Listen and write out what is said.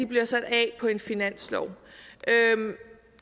bliver sat af på en finanslov